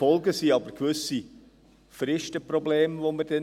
Die Folgen sind aber gewisse Fristenprobleme, die wir dann haben.